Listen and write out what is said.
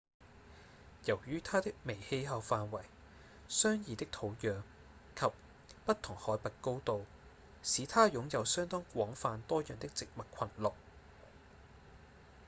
由於它的微氣候範圍、相異的土壤及不同海拔高度使它擁有相當廣泛多樣的植物群落